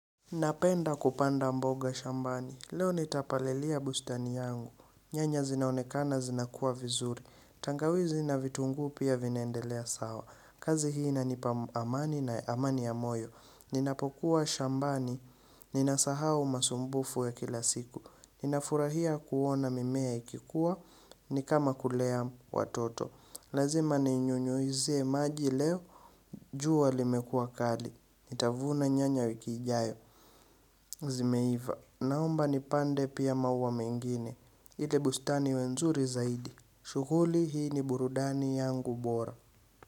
Napenda kupanda mboga shambani. Leo nitapalilia bustani yangu. Nyanya zinaonekana zinakua vizuri. Tangawizi na vitunguu pia vinaendelea sawa. Kazi hii inanipa amani na amani ya moyo. Ninapokuwa shambani. Ninasahau masumbufu ya kila siku. Ninafurahia kuona mimea ikikua. Ni kama kulea watoto. Lazima ninyunyuizie maji leo. Jua limekua kali. Nitavuna nyanya wiki ijayo. Zimeiva, naomba nipande pia maua mengine. Ili bustani iwe nzuri zaidi. Shughuli hii ni burudani yangu bora.